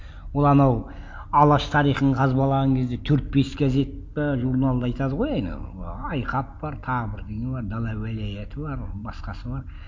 ол анау алаш тарихын қазбалаған кезде төрт бес газетті журналды айтады ғой анау айқап бар тағы бірдеңе бар дала уәлаяты бар басқасы бар